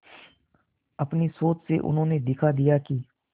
अपनी सोच से उन्होंने दिखा दिया कि